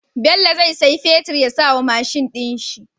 Bello zai siya fetir ya sawa mashin din shi